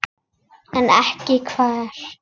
En ekki hver?